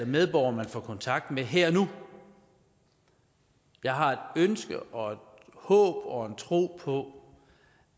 medborgere man får kontakt med her og nu jeg har et ønske og et håb og en tro på